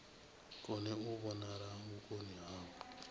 kone u vhonala vhukoni havho